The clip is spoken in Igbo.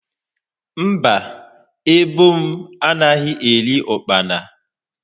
Mba, ebo m anaghi eri ụkpana.